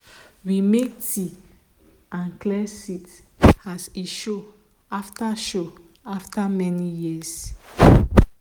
we make tea and clear seat as he show after show after many years.